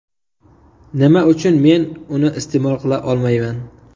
Nima uchun men uni iste’mol qila olmayman?